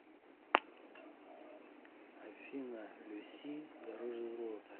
афина люси дороже золота